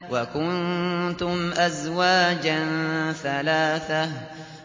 وَكُنتُمْ أَزْوَاجًا ثَلَاثَةً